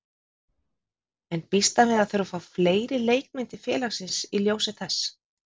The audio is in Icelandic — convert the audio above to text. En býst hann við að þurfa að fá fleiri leikmenn til félagsins í ljósi þess?